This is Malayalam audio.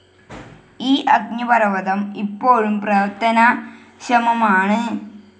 ഈ അഗ്നിപർവതം ഇപ്പോഴും പ്രവർത്തനക്ഷമമാണ്.